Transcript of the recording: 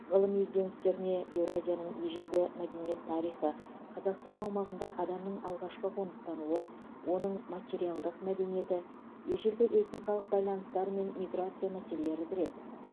ғылыми ізденістеріне еуразияның ежелгі мәдениет тарихы қазақстан аумағында адамның алғашқы қоныстануы оның материалдық мәдениеті ежелгі этникалық байланыстар мен миграция мәселелері кіреді